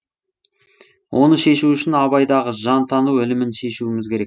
оны шешу үшін абайдағы жантану ілімін шешуіміз керек